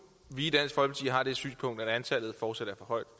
vi i har det synspunkt at antallet fortsat er for højt